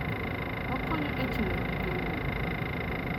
Okonyo e chulo gige wuoth.